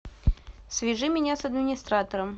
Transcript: свяжи меня с администратором